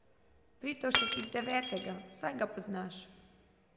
Pirtovšek, iz devetega, saj ga poznaš?